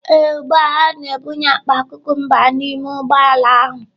Ee, ugbu a ha na-ebunye akpa cucumbers n'ime ụgbọ ala ahụ.